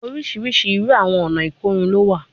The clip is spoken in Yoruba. Oriṣiriṣi iru awọn ọna ikorun lo wa